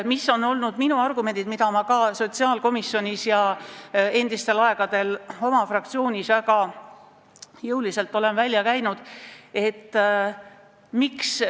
Mis on olnud minu argumendid, mis ma sotsiaalkomisjonis ja endistel aegadel ka oma fraktsioonis väga jõuliselt olen välja käinud?